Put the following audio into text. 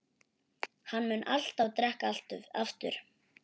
Hann mun alltaf drekka aftur.